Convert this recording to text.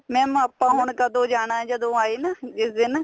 mam ਆਪਾਂ ਹੁਣ ਕਦੋਂ ਜਾਣਾ ਜਦੋਂ ਆਏ ਨਾ ਜਿਸ ਦਿਨ